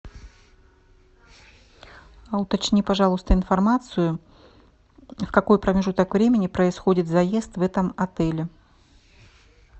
а уточни пожалуйста информацию в какой промежуток времени происходит заезд в этом отеле